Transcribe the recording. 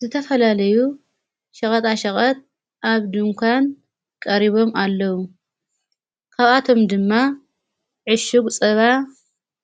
ዝተፈላለዩ ሽቐጣ ሸቐት ኣብ ድንኳን ቀሪቦም ኣለዉ ካብኣቶም ድማ ዕሹጕ ጸባ